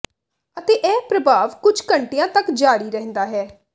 ਅਤੇ ਇਹ ਪ੍ਰਭਾਵ ਕੁਝ ਘੰਟਿਆਂ ਤਕ ਜਾਰੀ ਰਹਿੰਦਾ ਹੈ